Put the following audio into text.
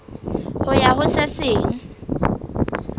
ho ya ho se seng